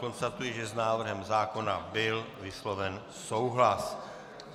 Konstatuji, že s návrhem zákona byl vysloven souhlas.